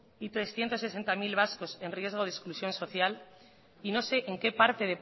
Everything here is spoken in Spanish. y de trescientos sesenta mil vascos en riesgo de exclusión social y no sé en qué parte